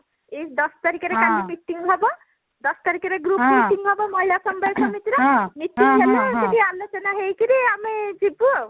ଏଇ ଦଶ ତାରିଖରେ କାଲି meeting ହବ ଦଶ ତାରିଖରେ group meeting ହବ ମହିଳା ସମବାୟ ସମିତିର meeting ହେଲେ ସେଠି ଆଲୋଚନା ହେଇକିରି ଆମେ ଯିବୁ ଆଉ